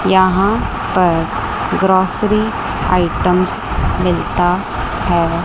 यहां पर grocery items मिलता है।